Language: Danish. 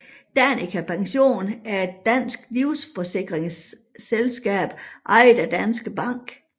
Danica Pension er et dansk livsforsikringsselskab ejet af Danske Bank